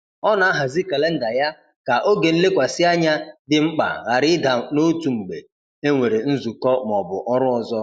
Ọ na-ahazi kalenda ya ka oge nlekwasị anya dị mkpa ghara ịda n’otu mgbe e nwere nzukọ ma ọ bụ ọrụ ọzọ.